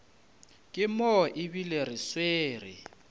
ke mo ebile re swere